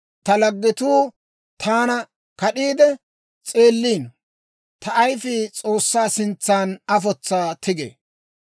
Ta laggetuu taana kad'iide s'eelliino; ta ayifii S'oossaa sintsan afotsaa tigee.